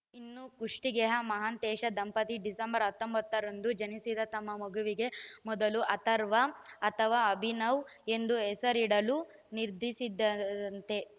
ಇನ್ನು ಕುಷ್ಟಗಿಯ ಮಹಾಂತೇಶ್‌ ದಂಪತಿ ಡಿಸೆಂಬರ್ ಹತ್ತೊಂಬತ್ತ ರಂದು ಜನಿಸಿದ ತಮ್ಮ ಮಗುವಿಗೆ ಮೊದಲು ಅಥರ್ವ ಅಥವಾ ಅಭಿನವ ಎಂದು ಹೆಸರಿಡಲು ನಿರ್ಧಿಸಿದ್ದರ ರಂತೆ